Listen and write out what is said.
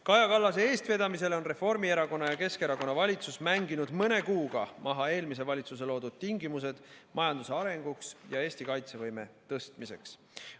Kaja Kallase eestvedamisel on Reformierakonna ja Keskerakonna valitsus mänginud mõne kuuga maha eelmise valitsuse loodud tingimused majanduse arenguks ja Eesti kaitsevõime tõstmiseks.